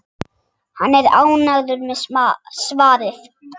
Hann er ánægður með svarið.